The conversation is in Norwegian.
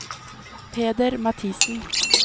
Peder Mathiesen